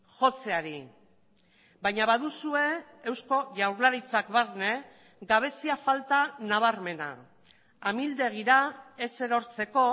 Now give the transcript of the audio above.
jotzeari baina baduzue eusko jaurlaritzak barne gabezia falta nabarmena amildegira ez erortzeko